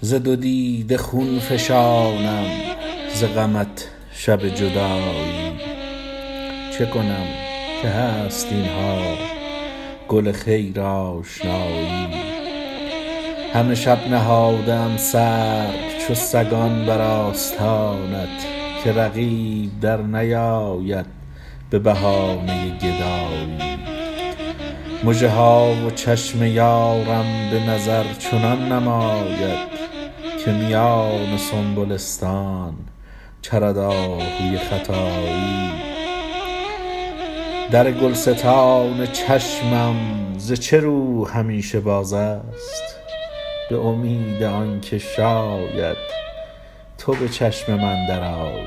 ز دو دیده خون فشانم ز غمت شب جدایی چه کنم که هست اینها گل خیر آشنایی همه شب نهاده ام سر چو سگان بر آستانت که رقیب در نیاید به بهانه گدایی مژه ها و چشم یارم به نظر چنان نماید که میان سنبلستان چرد آهوی ختایی در گلستان چشمم ز چه رو همیشه باز است به امید آنکه شاید تو به چشم من درآیی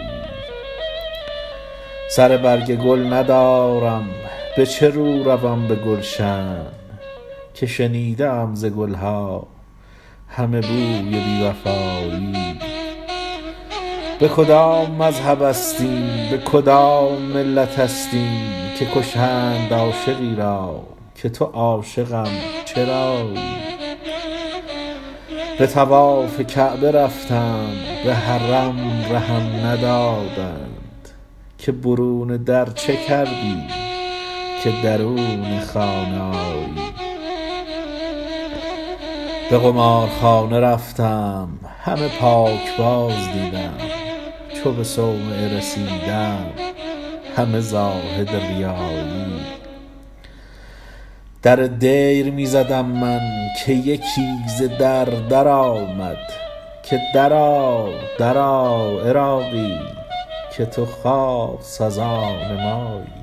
سر برگ گل ندارم به چه رو روم به گلشن که شنیده ام ز گلها همه بوی بی وفایی به کدام مذهب است این به کدام ملت است این که کشند عاشقی را که تو عاشقم چرایی به طواف کعبه رفتم به حرم رهم ندادند که برون در چه کردی که درون خانه آیی به قمارخانه رفتم همه پاکباز دیدم چو به صومعه رسیدم همه زاهد ریایی در دیر می زدم من که یکی ز در در آمد که درآ درآ عراقی که تو خاص از آن مایی